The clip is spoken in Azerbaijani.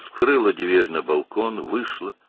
balkona qapını açdı, çıxdı.